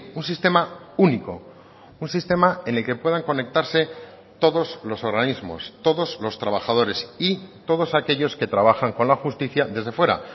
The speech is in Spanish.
un sistema único un sistema en el que puedan conectarse todos los organismos todos los trabajadores y todos aquellos que trabajan con la justicia desde fuera